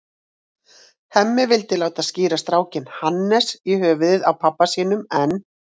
Hemmi vildi láta skíra strákinn Hannes, í höfuðið á pabba sínum, en